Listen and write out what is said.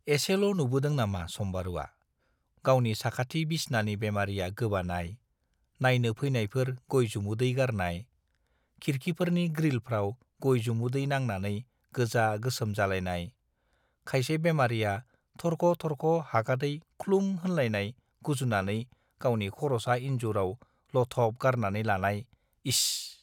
एसेल' नुबोदों नामा सम्बारुवा, गावनि साखाथि बिसनानि बेमारिया गोबानाय, नायनो फैनायफोर गय-जुमुदै गारनाय, खिरखिफोरनि ग्रिलफ्राव गय-जुमुदै नांनानै गोजा-गोसोम जालायनाय, खायसे बेमारिया थरख' थरख' हागादै ख्लुम होनलायनाय गुजुनानै गावनि खर'सा इनजुराव लथब गारनानै लानाय- इस !